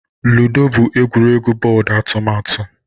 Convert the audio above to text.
Ludo bụ egwuregwu bọọdụ atụmatụ